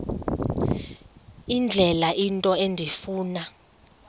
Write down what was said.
indlela into endifuna